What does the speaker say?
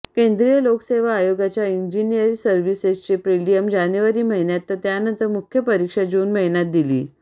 केंद्रीय लोकसेवा आयोगाच्या इंजिनिअर सर्व्हिसेसची प्रीलियम जानेवारी महिन्यात तर त्यानंतर मुख्य परीक्षा जून महिन्यात दिली